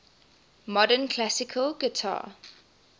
modern classical guitar